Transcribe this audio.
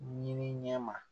Ɲiniɲɛ ma